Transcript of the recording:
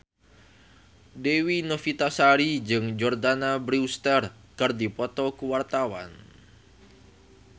Dewi Novitasari jeung Jordana Brewster keur dipoto ku wartawan